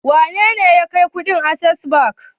Wane ne ya kai kuɗin Access Bank?